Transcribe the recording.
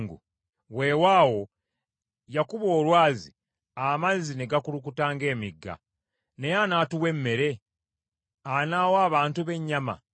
Weewaawo yakuba olwazi, amazzi ne gakulukuta ng’emigga; naye anaatuwa emmere? Anaawa abantu be ennyama?”